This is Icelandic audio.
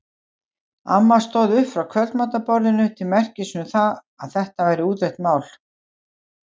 Amma stóð upp frá kvöldmatarborðinu til merkis um að þetta væri útrætt mál.